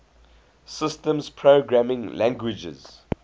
systems programming languages